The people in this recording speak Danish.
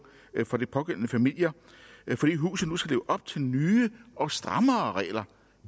for de pågældende familier fordi huset nu skal leve op til nye og strammere regler